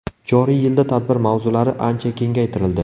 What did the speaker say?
Joriy yilda tadbir mavzulari ancha kengaytirildi.